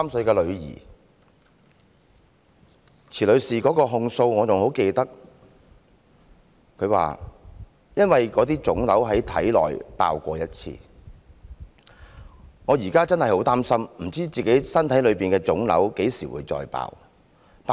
我仍然記得池女士的控訴，她說："因為體內的腫瘤已爆過一次，我現在真的很擔心，不知體內的腫瘤何時再爆。